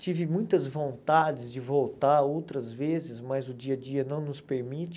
Tive muitas vontades de voltar outras vezes, mas o dia a dia não nos permite.